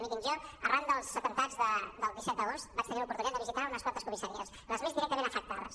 mirin jo arran dels atemptats del disset d’agost vaig tenir l’oportunitat de visitar unes quantes comissaries les més directament afectades